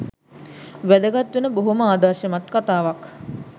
වැදගත් වෙන බොහොම ආදර්ශමත් කතාවක්.